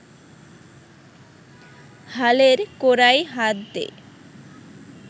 হালের কোরায় হাত দে